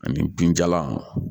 Ani binjalan